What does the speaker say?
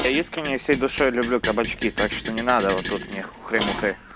я искренне всей душой люблю кабачки так что не надо вот тут мне хухры мухры